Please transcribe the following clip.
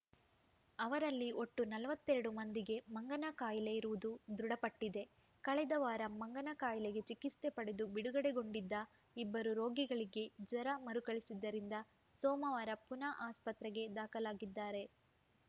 ಅವರಲ್ಲಿ ಒಟ್ಟು ನಲವತ್ತ್ ಎರಡು ಮಂದಿಗೆ ಮಂಗನಕಾಯಿಲೆ ಇರುವುದು ದೃಢಪಟ್ಟಿದೆ ಕಳೆದ ವಾರ ಮಂಗನಕಾಯಿಲೆಗೆ ಚಿಕಿತ್ಸೆ ಪಡೆದು ಬಿಡುಗಡೆಗೊಂಡಿದ್ದ ಇಬ್ಬರು ರೋಗಿಗಳಿಗೆ ಜ್ವರ ಮರುಕಳಿಸಿದ್ದರಿಂದ ಸೋಮವಾರ ಪುನಃ ಆಸ್ಪತ್ರೆಗೆ ದಾಖಲಾಗಿದ್ದಾರೆ